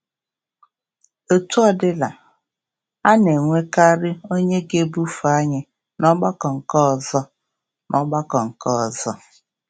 Etu ọ dịla, a na-enwekarị onye ga-ebufe anyị n’ọgbakọ nke ọzọ. n’ọgbakọ nke ọzọ.